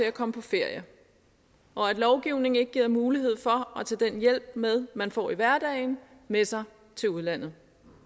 at komme på ferie når lovgivningen ikke giver mulighed for at tage den hjælp med man får i hverdagen med sig til udlandet